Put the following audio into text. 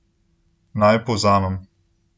Naj povzamem.